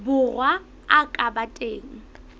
borwa a ka ba teng